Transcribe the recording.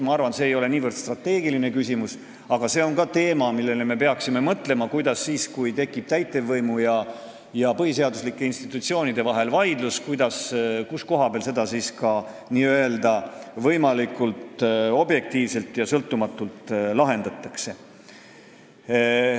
Ma arvan, et see ei ole niivõrd strateegiline küsimus, aga see on ka teema, millele me peaksime mõtlema, et kui tekib vaidlus täitevvõimu ja põhiseaduslike institutsioonide vahel, siis kus koha peal seda võimalikult objektiivselt ja sõltumatult lahendatakse.